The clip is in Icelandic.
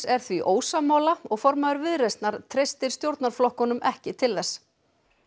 er því ósammála og formaður Viðreisnar treystir stjórnarflokkunum ekki til þess